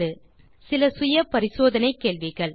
தீர்வு காண சில செல்ஃப் அசெஸ்மென்ட் கேள்விகள் 1